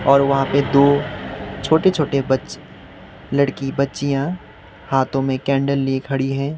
और वहां पे दो छोटे छोटे बच्च लड़की बच्चियां हाथों में कैंडल लिए खड़ी हैं।